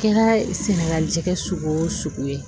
Kɛra sɛnɛgali jɛgɛn o sugu ye